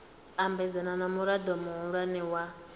ambedzana na murao muhulwane wa